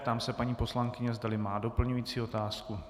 Ptám se paní poslankyně, zdali má doplňující otázku.